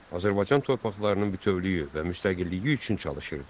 Azərbaycan torpaqlarının bütövlüyü və müstəqilliyi üçün çalışırdı.